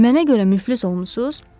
Mənə görə müflis olmusunuz?